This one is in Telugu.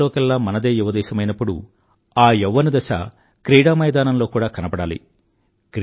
ప్రపంచంలోకెల్లా మనదే యువ దేశమైనప్పుడు ఆ యౌవ్వనదశ క్రీడామైదానంలో కూడా కనబడాలి